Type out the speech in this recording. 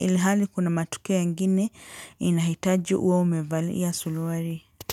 ilhali kuna matukio ingine inahitaji uwe umevalia suruali.